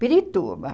Pirituba.